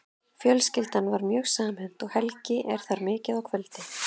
Fjölskyldan er mjög samhent og Helgi er þar mikið á kvöldin.